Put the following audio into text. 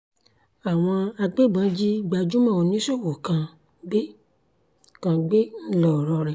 àwọn agbébọn jí gbajúmọ̀ oníṣòwò kan gbé kan gbé ńlọrọrìn